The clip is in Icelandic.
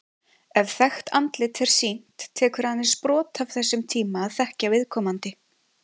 Ef þekkt andlit er sýnt, tekur aðeins brot af þessum tíma að þekkja viðkomandi.